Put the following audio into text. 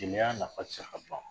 Jeliya nafa tɛ se ka ban